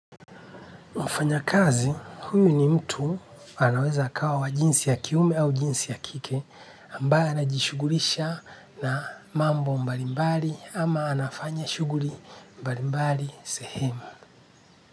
Mfanyakazi, huyu ni mtu anaweza akawa wa jinsi ya kiume au jinsi ya kike ambaye anajishugulisha na mambo mbalimbali ama anafanya shughuli mbalimbali sehemu.